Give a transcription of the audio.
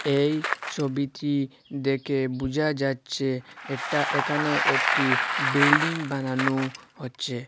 এই ছবিটি দেখে বোঝা যাচ্ছে এটা এখানে একটি বিল্ডিং বানানো হচ্ছে।